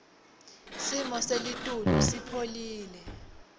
simo selitulu sipholile